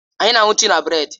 Anyị na-aṅụ tii na bredi.